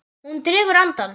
Hún dregur andann.